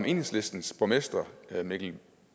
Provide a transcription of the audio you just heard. enhedslistens borgmester mikkel